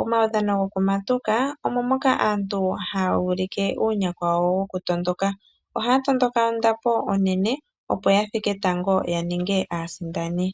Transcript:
Omaudhana gokumatuka omo moka aantu haa ulike uunyakwa wawo woku tondoka, ohaa tondoka ondapo onene opo yathike tango yaninge aasindani.